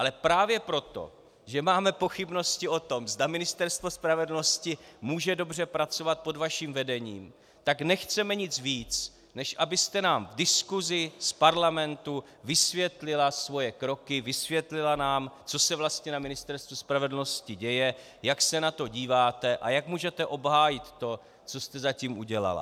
Ale právě proto, že máme pochybnosti o tom, zda Ministerstvo spravedlnosti může dobře pracovat pod vaším vedením, tak nechceme nic víc, než abyste nám v diskusi z Parlamentu vysvětlila svoje kroky, vysvětlila nám, co se vlastně na Ministerstvu spravedlnosti děje, jak se na to díváte a jak můžete obhájit to, co jste zatím udělala.